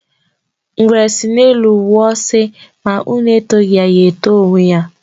Ngwere sị n'elu wụọ sị ma unu etọghi ya, ya eto onwe ya.